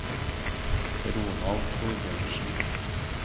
Ronald Thorbjørnsen